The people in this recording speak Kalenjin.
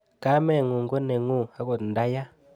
Kameng'ung' ko neng'ung' akot nda ya.